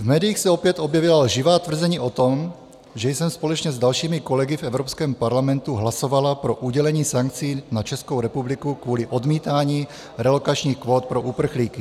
V médiích se opět objevila lživá tvrzení o tom, že jsem společně s dalšími kolegy v Evropském parlamentu hlasovala pro udělení sankcí na Českou republiku kvůli odmítání relokačních kvót pro uprchlíky.